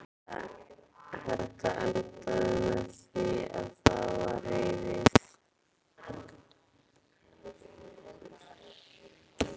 Þetta endaði með því að það var rifið.